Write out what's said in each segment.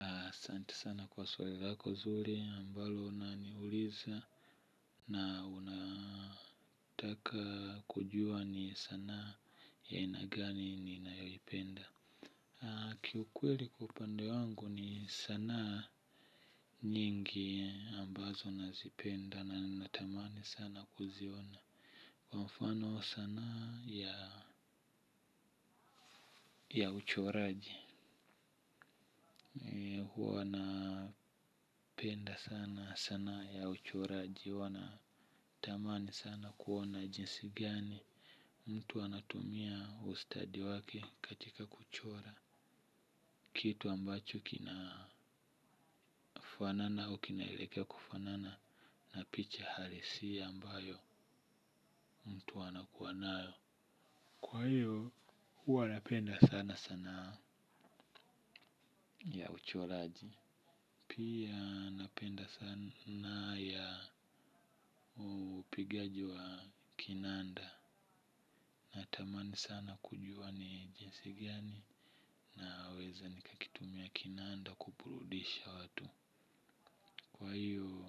Asante sana kwa swali lako zuri ambalo unaniuliza na unataka kujua ni sanaa ya aina gani ninayoipenda. Kiukweli kwa upande wangu ni sanaa nyingi ambazo nazipenda na natamani sana kuziona. Kwa mfano sanaa ya ya uchoraji. Huwa napenda sana sanaa ya uchoraji. Huwa natamani sana kuona jinsi gani mtu anatumia ustadi wake katika kuchora. Kitu ambacho kinakufanana au kinaelekea kufanana na picha halisia ambayo mtu anakuwa nayo. Kwa hiyo huwana penda sana sana ya uchoraji. Pia napenda sanaa ya upigaji wa kinanda. Natamani sana kujua ni jinsi gani naweze nikakitumia kinanda kuburudisha watu. Kwa hiyo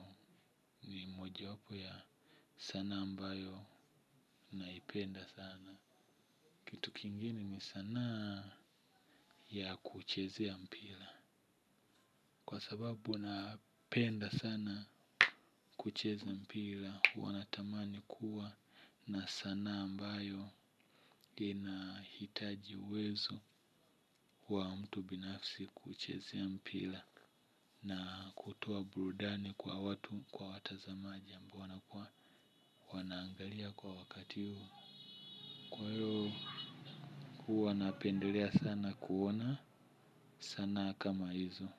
ni mojawapo ya sanaa ambayo naipenda sana kitu kingine ni sanaa ya kuchezea mpira. Kwa sababu napenda sana kucheza mpira. Huwa natamani kuwa na sanaa ambayo inahitaji uwezo wa mtu binafsi kuchezea mpira na kutoa burudani kwa watu kwa watazamaji ambao wanakuwa wanaangalia kwa wakati huu. Kwa hiyo huwa napendelea sana kuona sanaa kama hizo.